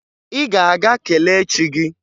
Ị ga-aga kelee chi gị!